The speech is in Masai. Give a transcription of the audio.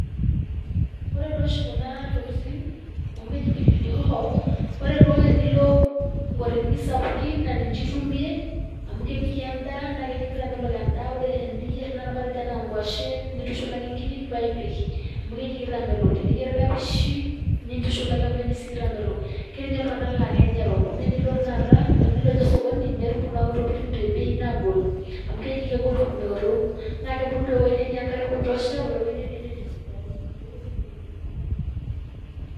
Ore duo oshi kuna tokitin amu keji pilipili hoho ore duo tenilo nkotelini sapuki naa ninche itumie amu kepiki endaa naa keji keitamelok endaa ore teniyierr tenakata matejo anaa nkuashen nintushulaki nkiri paa ipik amu keji keitamelok teniyierr kapishi nintushulaki amu keji sii keitamelok. Ketii ninye iltung'anak laa kenya erok, naa enilo tenakata, tenilo ninye osokoni naa itum kuna tokitin tebei nagol amu keji kegol tumoto, naa keebulu tewueji netii enkare ekutosha otewueji netii enterit sidai, inewueji ebulunye.